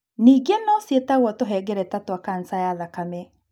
Ningĩ no ciĩtagwo tũhengereta twa kanca ya thakame.